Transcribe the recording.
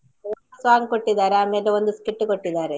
Song ಕೊಟ್ಟಿದ್ದಾರೆ ಆಮೇಲೆ ಒಂದು skit ಕೊಟ್ಟಿದ್ದಾರೆ.